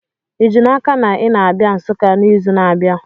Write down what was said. Ị ji n'aka na ị na-abịa Nsukka n'izu na-abịa?